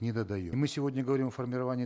недодаем и мы сегодня говорим о формировании